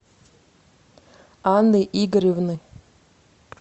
анны игоревны